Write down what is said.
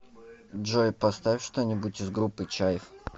джой поставь что нибудь из группы чайф